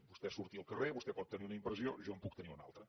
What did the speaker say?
vostè surti al carrer vostè pot tenir una impressió jo en puc tenir una altra